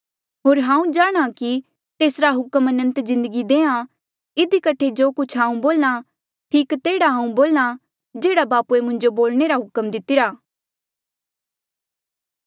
होर हांऊँ जाणहां कि तेसरा हुक्म अनंत जिन्दगी देहां इधी कठे जो कुछ हांऊँ बोल्हा ठीक तेह्ड़ा हांऊँ बोल्हा जेह्ड़ा बापूए मुंजो बोलणे रा हुक्म दितिरा